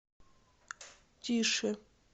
тише